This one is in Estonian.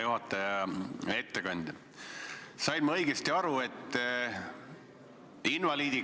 Juhtivkomisjoni menetluslikud otsused ja ettepanekud.